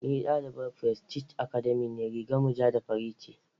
Ni dalibar prestige Academy ce rigar mu ja da fari ce.